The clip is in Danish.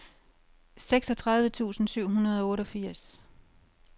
seksogtredive tusind syv hundrede og otteogfirs